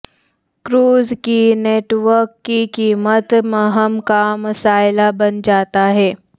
cruise کی network کی قیمت مہم کا مسئلہ بن جاتا ہے